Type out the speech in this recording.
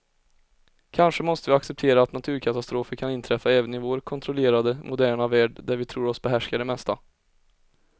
Kanske måste vi acceptera att naturkatastrofer kan inträffa även i vår kontrollerade, moderna värld där vi tror oss behärska det mesta.